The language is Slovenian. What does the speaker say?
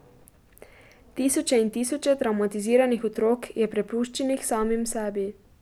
Tisoče in tisoče travmatiziranih otrok je prepuščenih samim sebi.